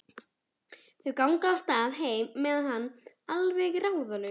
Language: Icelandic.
Þau ganga af stað heim með hann, alveg ráðalaus.